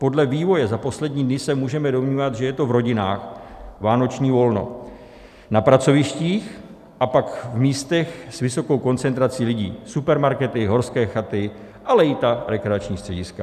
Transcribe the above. Podle vývoje za poslední dny se můžeme domnívat, že je to v rodinách - vánoční volno, na pracovištích a pak v místech s vysokou koncentrací lidí - supermarkety, horské chaty, ale i ta rekreační střediska.